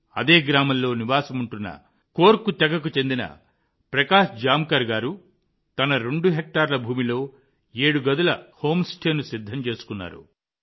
అదే గ్రామంలో నివాసముంటున్న కోర్కు తెగకు చెందిన ప్రకాశ్ జామ్కార్ గారు తన రెండు హెక్టార్ల భూమిలో ఏడు గదుల హోమ్ స్టేను సిద్ధం చేశారు